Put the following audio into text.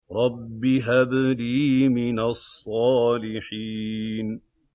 رَبِّ هَبْ لِي مِنَ الصَّالِحِينَ